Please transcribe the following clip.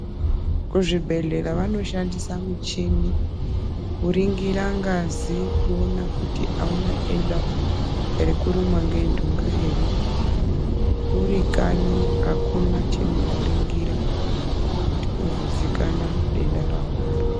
Kuzvibhedhlera vanoshandisa michini kuringira ngazi kuona kuti auna denda rekurumwa ngentunga here. Urikanyi akuna chinokone kuringira kuti uzozikanwa denda reunaro.